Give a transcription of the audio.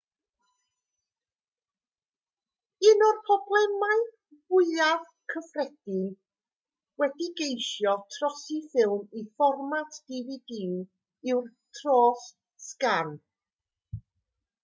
un o'r problemau mwyaf cyffredin wrth geisio trosi ffilm i fformat dvd yw'r tros-sgan